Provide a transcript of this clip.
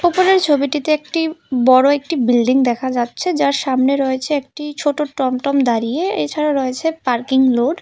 উপরের ছবিটিতে একটি বড় একটি বিল্ডিং দেখা যাচ্ছে যার সামনে রয়েছে একটি ছোট টমটম দাঁড়িয়ে এছাড়া রয়েছে একটি পার্কিং লোড ।